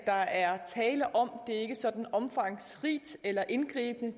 der er tale om det er ikke sådan omfangsrigt eller indgribende